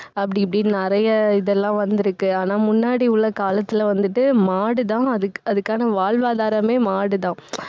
அப்படி இப்படின்னு நிறைய இது எல்லாம் வந்திருக்கு. ஆனா, முன்னாடி உள்ள காலத்துல வந்துட்டு மாடுதான் அதுக்~ அதுக்கான வாழ்வாதாரமே மாடுதான்.